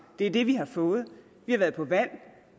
det er det vi har fået vi har været på valg